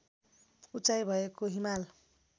उचाइ भएको हिमाल